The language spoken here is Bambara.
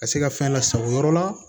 Ka se ka fɛn lasago yɔrɔ la